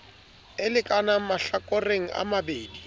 a lekanang mahlakoreng a mabedi